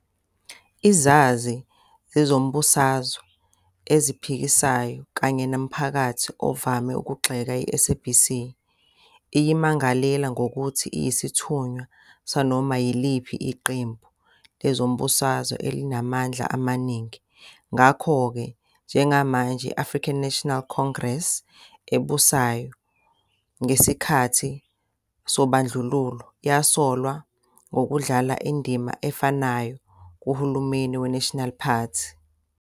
Izazi zezombusazwe eziphikisayo kanye nomphakathi ovame ukugxeka i-SABC, iyimangalela ngokuthi iyisithunywa sanoma yiliphi iqembu lezombusazwe elinamandla amaningi, ngakho-ke njengamanje I-African National Congress ebusayo, ngesikhathi Ubandlululo yasolwa ngokudlala indima efanayo kuhulumeni we-National Party.